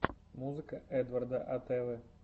музыка эдварда атэвы